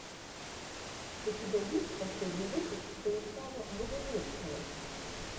у тебя есть последний выпуск станислава богумирского